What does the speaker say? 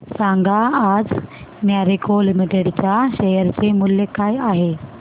सांगा आज मॅरिको लिमिटेड च्या शेअर चे मूल्य काय आहे